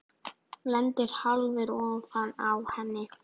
Lendir hálfur ofan á henni.